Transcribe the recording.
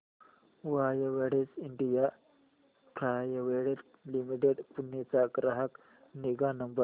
Widex India private limited Pune चा ग्राहक निगा नंबर